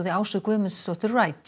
Ásu Guðmundsdóttur